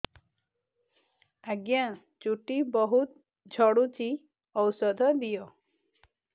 ଆଜ୍ଞା ଚୁଟି ବହୁତ୍ ଝଡୁଚି ଔଷଧ ଦିଅ